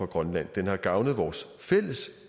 grønland den har gavnet vores fælles